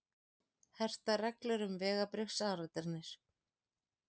Hertar reglur um vegabréfsáritanir